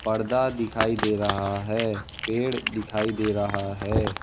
पर्दा दिखाई दे रहा है पेड़ दिखाई दे रहा है।